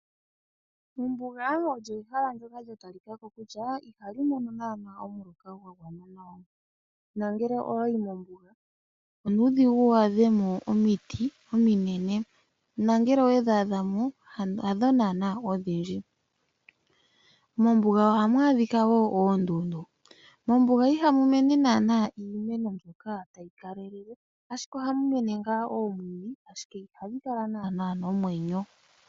Mombuga olyo ehala ndyoka lya talika ko kutya ihali mono naanaa omuloka gwa gwana nawa nongele owayi mombuga onuudhigu wu mone omiti ominene nongele owedhi adha mo hadho naanaa odhindji. Mombuga ohamu adhika wo oondundu. Mombuga ihamu mene naanaa iimeno mbyoka tayi kalele, ashike ohamu mene ngaa oomwiidhi ashike ihadhi kala naanaa nomwenyo.